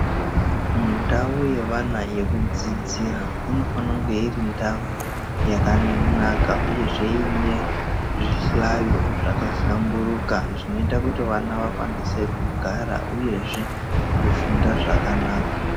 Mundau yevana yekudzidzira inofana kunge irindau yakanaka, uyezve ine zvihlayo zvakahlamburuka zvinota kuti vana vakwanise kugara, uyezve kufunda zvakanaka.